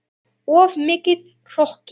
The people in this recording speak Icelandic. Of mikill hroki.